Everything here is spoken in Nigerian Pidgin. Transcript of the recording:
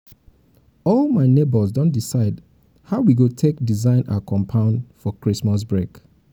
all um my nebors don decide um how um we go take go take design our compound for christmas break